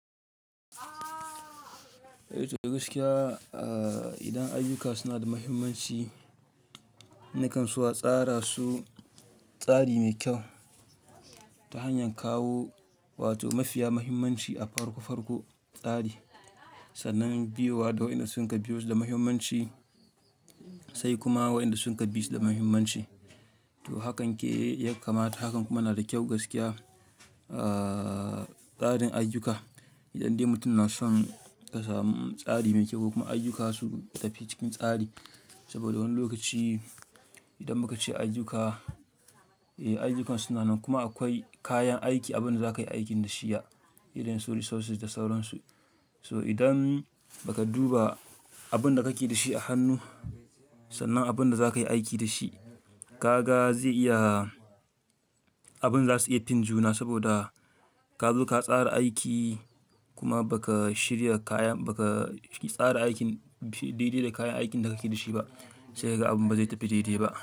Eh to gaskiya, idan ayyuka suna da muhimmanci, nikan so a tsara su tsari mai kyau ta hanyar kawo wato mafiya muhimmanci a farko farko tsari, sannan biyo wa, da waƴanda sunka biyo su da muhimmanci sai kuma wa'inda suka bisu da muhimmanci. To hakan ke yakamata, hakan kuma na da kyau gaskiya, ahhh tsarin ayyuka. Idan dai mutum na son ka samu tsari mai kyau ko kuma ayyuka su tafi cikin tsari. Saboda wani lokaci idan muka ce ayyuka, eh ayyukan su na nan kuma akwai kayan aiki abin da zaka yi aikin da shi ya, irin su resources da sauransu. So idan baka duba abin da kake da shi a hannu sannan abin da zaka yi aiki da shi, kaga zai iya abin za su iya fin juna saboda kazo ka tsara aiki kuma baka shirya kayan baka tsara aikin, shi daidai da kayan aikin da kake da shi ba sai kaga abun ba zai tafi daidai ba.